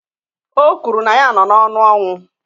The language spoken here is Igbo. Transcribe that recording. O kwuru na ya nọ n'ọnụ ọnwụ